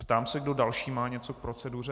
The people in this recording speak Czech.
Ptám se, kdo další má něco k proceduře.